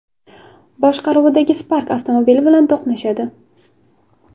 boshqaruvidagi Spark avtomobili bilan to‘qnashadi.